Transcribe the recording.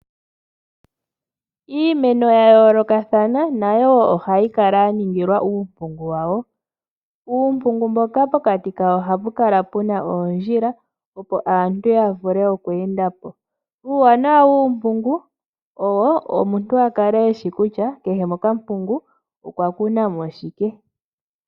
Iimeno ya yoolokathana nayo wo ohayi kala ya ningilwa uumpungu wawo. Uumpungu mboka pokati kawo ohapu kala pu na oondjila, opo aantu ya vule okweenda po. Uuwanawa wuumpungu owo omuntu a kale e shi kutya kehe mokampungu okwa kuna mo shike.